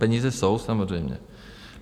Peníze jsou, samozřejmě.